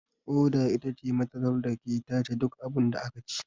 Ƙoda itace matatar dake tace duk abunda akaci